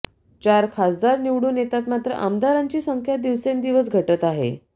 चार खासदार निवडून येतात मात्र आमदारांची संख्या दिवसेंदिवस घटत आहे